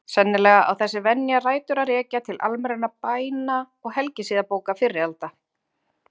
Sennilega á þessi venja rætur að rekja til almennra bæna- og helgisiðabóka fyrri alda.